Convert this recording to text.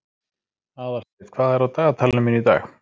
Aðalsteinn, hvað er á dagatalinu mínu í dag?